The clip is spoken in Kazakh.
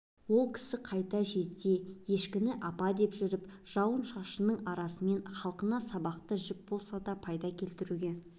ол кісі қайта жезде ешкіні апа деп жүріп жауын-жауынның арасымен халқына сабақты жіп болса да пайда келтіруге